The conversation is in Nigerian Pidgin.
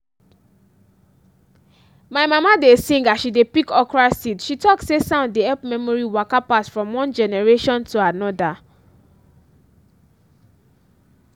my mama dey sing as she dey pick okra seeds she talk say sound dey help memory waka pass from one generation to another.